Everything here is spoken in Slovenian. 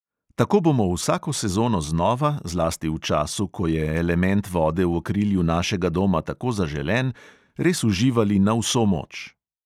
Tako bomo vsako sezono znova, zlasti v času, ko je element vode v okrilju našega doma tako zaželen, res uživali na vso moč.